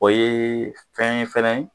O ye fɛn ye fɛnɛ